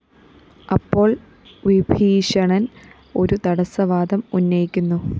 അപ്പോള്‍ വിഭീഷണന്‍ ഒരു തടസവാദം ഉന്നയിക്കുന്നു